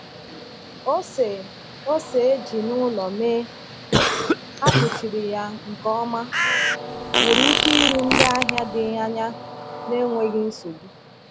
Ose ose e ji n’ụlọ mee, a kpuchiri ya nke ọma, nwere ike iru ndị ahịa dị anya n’enweghị nsogbu.